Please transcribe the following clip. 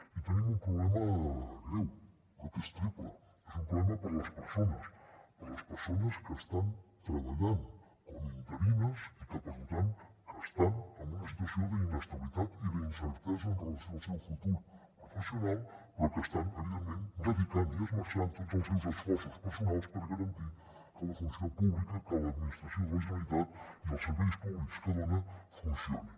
i tenim un problema greu però que és triple és un problema per a les persones per a les persones que estan treballant com a interines i que per tant estan en una situació d’inestabilitat i d’incertesa en relació amb el seu futur professional però que estan evidentment dedicant i esmerçant tots els seus esforços personals per garantir que la funció pública que l’administració de la generalitat i els serveis públics que dona funcionin